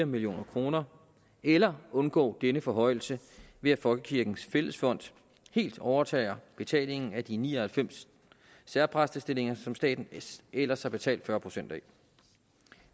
million kroner eller undgå denne forhøjelse ved at folkekirkens fællesfond helt overtager betalingen af de ni og halvfems særpræstestillinger som staten ellers har betalt fyrre procent af